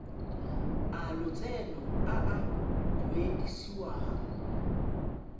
a lotseno a a duedisiwang